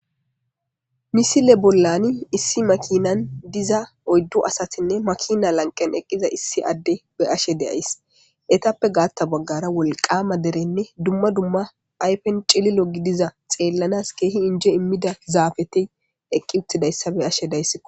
misile bollani issi makinan diza oyddu asatinne makina lanqen eqqiza issi adde beyashe days. etappe gaatta baggara wolqama derenne dumma dumma phayfen cililo gidiza xeellanas keehi inje immida zaafeti eqqi uttidayssa beyashe days.